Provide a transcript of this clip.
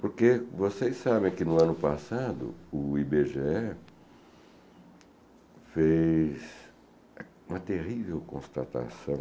Porque vocês sabem que no ano passado o i bê gê é fez uma terrível constatação